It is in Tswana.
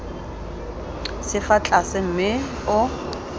se fa tlase mme o